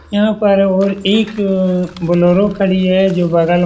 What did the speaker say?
यहाँ पर और एक बोलेरो खड़ी है जो बगल --